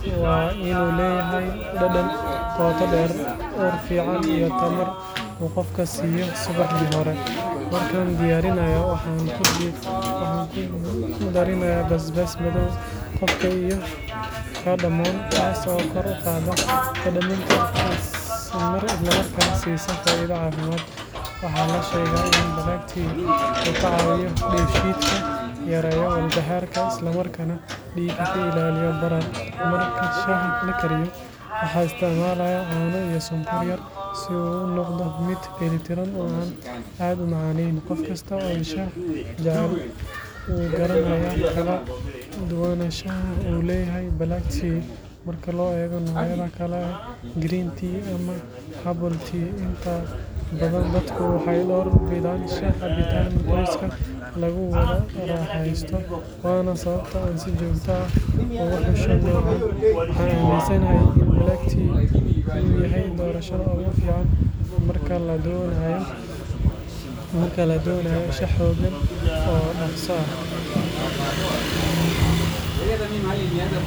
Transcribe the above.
tea waa in uu leeyahay dhadhan qoto dheer iyo tamar fiican oo uu qofka siiyo subaxdii hore. Marka la karinayo, waxaan ku daraa calaan madow taas oo kor u qaaddayso dhadhanka isla markaasna siiso faa’iidooyin caafimaad. Waxaa la sheegaa in black tea uu ka caawiyo dheef-shiidka, yareeyo walbahaarka, isla markaana dhiigga uu ka ilaaliyo barar. Marka shaah la karinayo, maxaa isku karsamaya? Caano iyo sonkor, taas oo ka dhigto mid dheeli tiran oo aad u macaan. Qof kasta oo shaah jecel wuu garanayaa faa’iidada uu leeyahay black tea marka loo eego noocyada kale sida green tea iyo herbal tea. Inta badan dadka waxay shaah ka gataan baakadaha lagu wada isticmaalo, waana sababta ay si gaar ah ugu doortaan black tea. Waxaan aaminsanahay in black tea uu yahay doorashada ugu wanaagsan marka la doonayo shaah xooggan oo dhaqso ah.